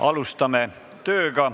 Alustame tööd.